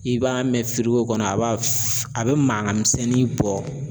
I b'a mɛn kɔnɔ a b'a a bɛ mankan misɛnnin bɔ.